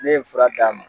Ne ye fura d'a ma